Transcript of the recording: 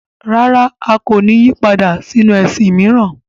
Rárá! A kò ní yí padà sínu ẹ̀sìn mìíràn.